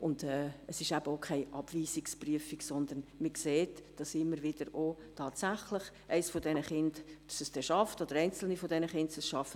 Und es ist auch keine Abweisungsprüfung, sondern man sieht auch immer wieder, dass tatsächlich eines dieser Kinder oder einzelne dieser Kinder es schaffen.